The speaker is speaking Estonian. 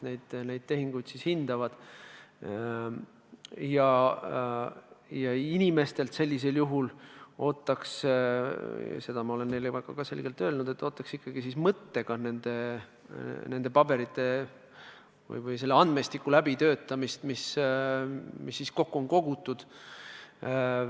Inimestelt ootaksin sellisel juhul – ja seda olen ma ka selgelt öelnud – ikkagi mõttega nende paberite või selle andmestiku läbitöötamist, mis kokku on kogutud.